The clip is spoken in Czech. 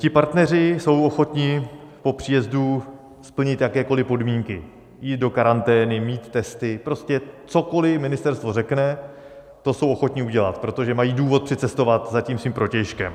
Ti partneři jsou ochotni po příjezdu splnit jakékoliv podmínky - jít do karantény, mít testy, prostě cokoliv ministerstvo řekne, to jsou ochotni udělat, protože mají důvod přicestovat za tím svým protějškem.